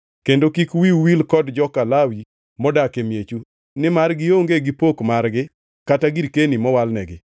Kendo kik wiu wil kod joka Lawi modak e miechu, nimar gionge gi pok margi kata girkeni mowalnegi.